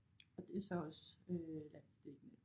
Og det så også øh landsdækkende